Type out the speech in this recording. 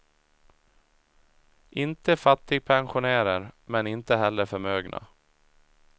Inte fattigpensionärer, men inte heller förmögna.